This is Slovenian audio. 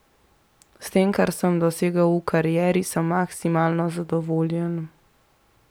S tem, kar sem dosegel v karieri, sem maksimalno zadovoljen.